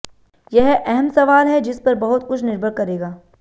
यह अहम सवाल है जिस पर बहुत कुछ निर्भर करेगा